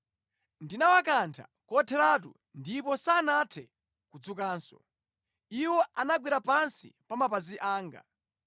Ndinawakantha kotheratu, ndipo sanathe kudzukanso; Iwo anagwera pansi pa mapazi anga.